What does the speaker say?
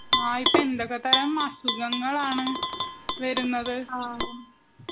ഇപ്പോൾ എന്തൊക്കെ തരം അസുഖങ്ങളാണ്. വരുന്നത്.